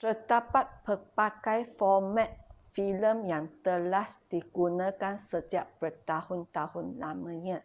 terdapat pelbagai format filem yang telah digunakan sejak bertahun-tahun lamanya.